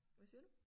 Hvad siger du?